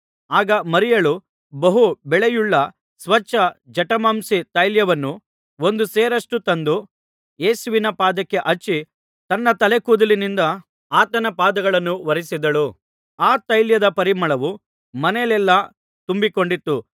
ಆಗ ಮರಿಯಳು ಬಹು ಬೆಲೆಯುಳ್ಳ ಸ್ವಚ್ಛ ಜಟಮಾಂಸಿ ತೈಲವನ್ನು ಒಂದು ಸೇರಷ್ಟು ತಂದು ಯೇಸುವಿನ ಪಾದಕ್ಕೆ ಹಚ್ಚಿ ತನ್ನ ತಲೆ ಕೂದಲಿನಿಂದ ಆತನ ಪಾದಗಳನ್ನು ಒರಸಿದಳು ಆ ತೈಲದ ಪರಿಮಳವು ಮನೆಯಲ್ಲೆಲ್ಲಾ ತುಂಬಿಕೊಂಡಿತ್ತು